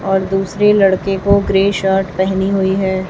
और दूसरे लड़के को ग्रे शर्ट पहनी हुई है।